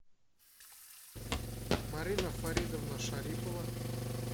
марина фаридовна шарипова